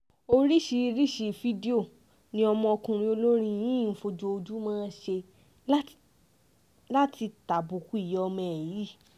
oríṣiríṣiì fídíò ni ọmọkùnrin olórin yìí ń fojoojúmọ́ ṣe láti tàbùkù ìyá ọmọ ẹ̀ yìí